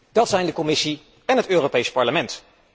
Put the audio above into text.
Dat zijn de Commissie en het Europees Parlement.